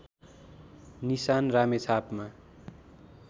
निशान रामेछापमा